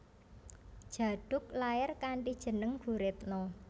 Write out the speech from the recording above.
Djaduk lair kanthi jeneng Guritno